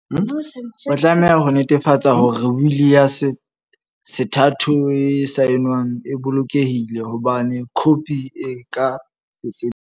O tlameha ho netefatsa hore wili ya sethatho e saenweng e bolokehile, ho bane khopi e ka se sebetse.